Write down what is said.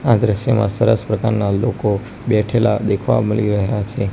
આ દ્રશ્યમાં સરસ પ્રકારના લોકો બેઠેલા દેખવા મલી રહ્યા છે.